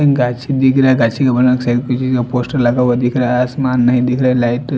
गासी दिखरा गासी पोस्टर लगा हुआ है आस्मान्न्ही दिखरा लाइट --